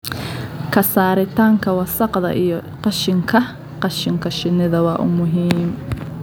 Ka saaritaanka wasakhda iyo qashinka qashinka shinnida waa muhiim.